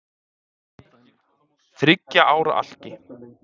Þriggja ára alki